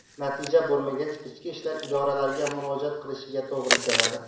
Natija bo‘lmagach, ichki ishlar idoralariga murojaat qilishiga to‘g‘ri keladi.